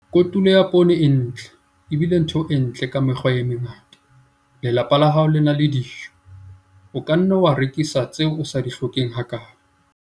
Kotulo ya poone e ntle e bile ntho e ntle ka mekgwa e mengata - lelapa la hao le na le dijo. O ka nna wa rekisa tseo o sa di hlokeng hakaalo.